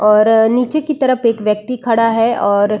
और नीचे की तरप एक व्यक्ति खड़ा है और --